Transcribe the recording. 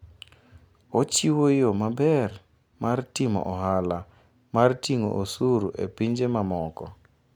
Ochiwo yo maber mar timo ohala mar ting'o osuru e pinje mamoko.